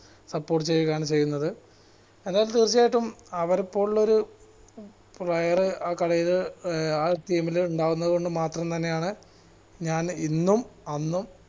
support ചെയുക ആണ് ചെയുന്നത് തീർച്ചയായിട്ടും അവരെ പോലുള്ളൊരു player ആ team ൽ ഇണ്ടാവുന്നത് കൊണ്ട് മാത്രം തന്നെയാണ് ഞാൻ ഇന്നും അന്നും